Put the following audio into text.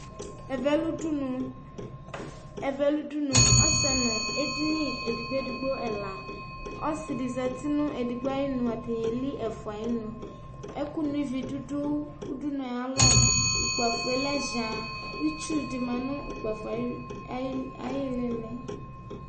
evɛ lũdũnũ ɛvɛ lũdũnũ ɔssɛ nũ edini edigbo edigbo ɛla ɔssi di zati nu edigbo ayinũ ataili efua ayi nũ ɛkũ nuivi dudu ũdunue aya lɔ ũkpafue lɛ jaá utsu di ma nu ũkpafoe ayi lili